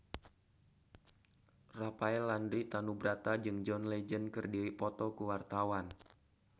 Rafael Landry Tanubrata jeung John Legend keur dipoto ku wartawan